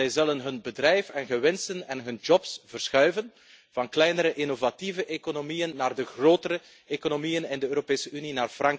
Zij zullen hun bedrijf, hun winsten en hun banen verschuiven van kleinere, innovatieve economieën naar de grotere economieën in de Europese Unie.